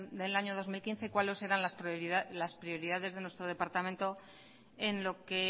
del año dos mil quince cuáles eran las prioridades de nuestro departamento en lo que